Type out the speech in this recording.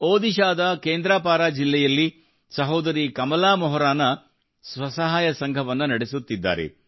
ಒಡಿಶಾದ ಕೇಂದ್ರಪಾರ ಜಿಲ್ಲೆಯಲ್ಲಿ ಸಹೋದರಿ ಕಮಲಾ ಮೊಹರಾನಾ ಸ್ವಸಹಾಯ ಸಂಘವನ್ನು ನಡೆಸುತ್ತಿದ್ದಾರೆ